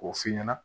K'o f'i ɲɛna